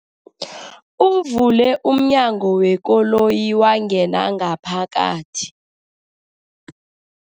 Uvule umnyango wekoloyi wangena ngaphakathi.